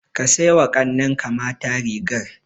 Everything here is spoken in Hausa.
Ka sai wa ƙannenka mata rigar.